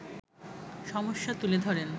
সমস্যা তুলে ধরেন